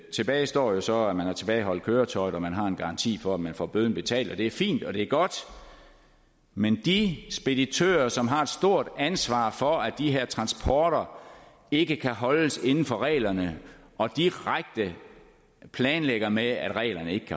tilbage står jo så at man har tilbageholdt køretøjet og at man har en garanti for at man får bøden betalt og det er fint og det er godt men de speditører som har et stort ansvar for at de her transporter ikke holdes inden for reglerne og direkte planlægger med at reglerne ikke